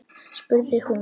spurði hún